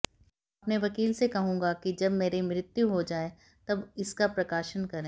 अपने वकील से कहूंगा की जब मेरे मृत्यु हो जाए तब इसका प्रकाशन करे